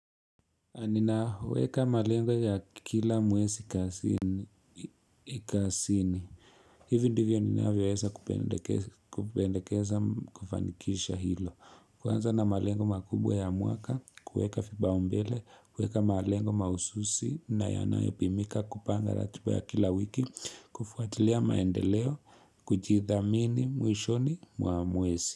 Ninaweka malengo ya kila mwezi kazini. Hivyo ndivyo ninavyoweza kupendekeza kufanikisha hilo. Kuanza na malengo makubwa ya mwaka, kueka vipaumbele, kuweka malengo maususi, na yanayo pimika kupanga ratiba ya kila wiki, kufuatilia maendeleo, kujithamini, mwishoni, mwa mwezi.